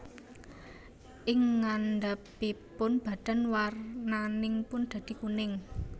Ing ngandhapipun badan warnanipun radi kuning